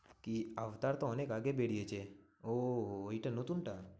কি অবতার তো অনেক আগে বেরিয়েছে। ওহ ওইটা নতুন টা?